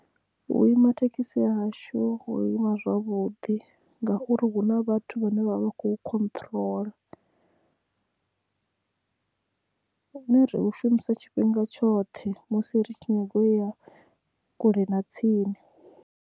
U ima thekhisi hashu ho ima zwavhuḓi ngauri hu na vhathu vhane vha vha kho khotrola hu ne ri hushumisa tshifhinga tshoṱhe musi ritshi nyaga uya kule na tsini.